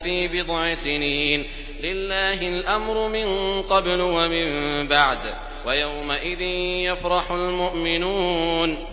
فِي بِضْعِ سِنِينَ ۗ لِلَّهِ الْأَمْرُ مِن قَبْلُ وَمِن بَعْدُ ۚ وَيَوْمَئِذٍ يَفْرَحُ الْمُؤْمِنُونَ